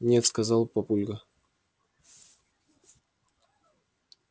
нет сказал папулька